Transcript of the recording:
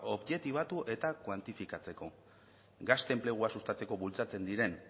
objektibatu eta kuantifikatzeko gazte enplegua sustatzeko bultzatzen diren